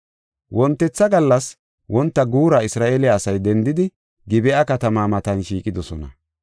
Wontetha gallas wonta guura Isra7eele asay dendidi Gib7a katamaa matan shiiqidosona.